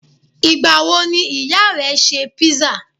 Ìgbà wo ni ìyá rẹ ṣe písà?